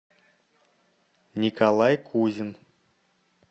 николай кузин